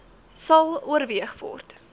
sal oorweeg word